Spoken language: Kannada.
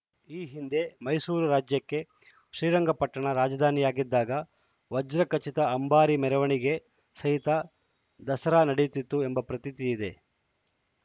ಈ ಹಿಂದೆ ಮೈಸೂರು ರಾಜ್ಯಕ್ಕೆ ಶ್ರೀರಂಗಪಟ್ಟಣ ರಾಜಧಾನಿಯಾಗಿದ್ದಾಗ ವಜ್ರ ಖಚಿತ ಅಂಬಾರಿ ಮೆರವಣಿಗೆ ಸಹಿತ ದಸರಾ ನಡೆಯುತ್ತಿತ್ತು ಎಂಬ ಪ್ರತೀತಿ ಇದೆ